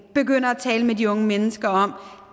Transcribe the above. begynder at tale med de unge mennesker om at